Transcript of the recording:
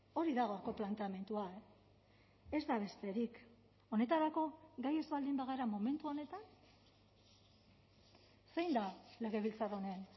hori da gaurko planteamendua e ez da besterik honetarako gai ez baldin bagara momentu honetan zein da legebiltzar honen